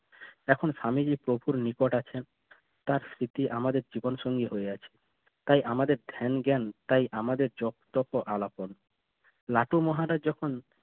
এখন স্বামীজি প্রচুর নিকট আছেন তার স্মৃতি আমাদের জীবন সঙ্গী হয়ে আছে তাই আমাদের ধ্যান জ্ঞান তাই আমাদের আলাপন লাটু মহারাজ যখন